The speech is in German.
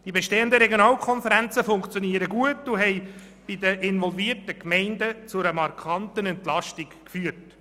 Die bestehenden Regionalkonferenzen funktionieren gut und haben in den involvierten Gemeinden zu einer markanten Entlastung geführt.